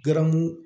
Garamu